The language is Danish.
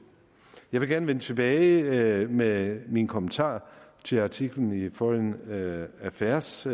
jeg vil gerne vende tilbage med mine kommentarer til artiklen i foreign affairs